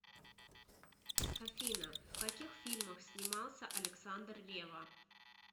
афина в каких фильмах снимался александр ревва